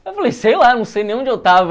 Aí eu falei, sei lá, não sei nem onde eu estava.